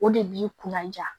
O de b'i kunna ja